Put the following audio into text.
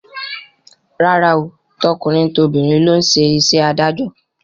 Rárá o, tọkùnrin tobìnrin ló ń ṣe iṣẹ́ adájọ́